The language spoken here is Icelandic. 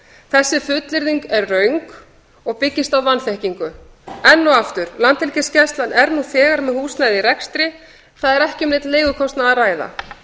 þessi fullyrðing röng og byggist á vanþekkingu enn og aftur landhelgisgæslan er nú þegar með húsnæði í rekstri þar er ekki um neinn leigukostnað að ræða